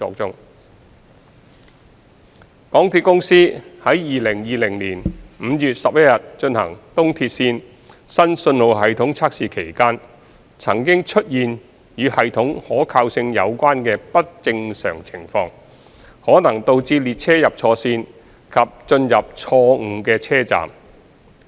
二港鐵公司在2020年5月11日進行東鐵綫新信號系統測試期間，曾經出現與系統可靠性有關的不正常情況，可能導致列車入錯線及進入錯誤的車站。